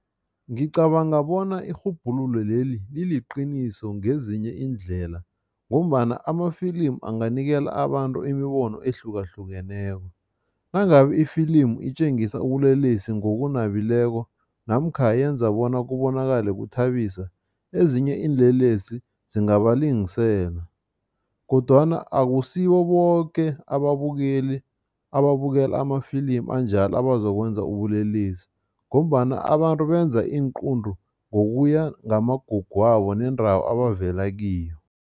Ngicabanga bona irhubhululo leli liliqiniso ngezinye iindlela ngombana amafilimu anganikela abantu imibono ehlukahlukeneko. Nangabe ifilimu itjengisa ubulelesi ngokunabileko namkha yenza bona kubonakale kuthabisa, ezinye iinlelesi zingabalingisela kodwana akusibo boke ababukeli ababukela amafilimu anjalo abazokwenza ubulelesi ngombana abantu benza iinqunto ngokuya ngamagugu wabo nendawo abavela kiyo.